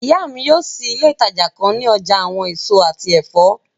Iya mi yóò ṣii ile itaja kan ni ọja awọn eso ati ẹfọ